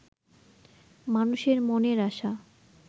মানুষের মনের আশা